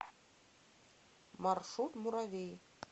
маршрут муравей